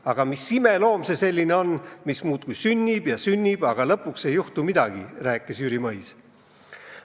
Aga mis imeloom see selline on, mis muudkui sünnib ja sünnib, aga lõpuks ei juhtu midagi," rääkis Mõis.